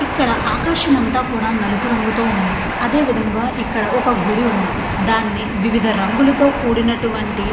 ఇక్కడ ఆకాశం అంతా కూడా నలుపు రంగుతో ఉంది. అదే విధముగా ఇక్కడ ఒక గుడి ఉంది దాన్ని వివిధ రంగులతో కూడినటువంటి --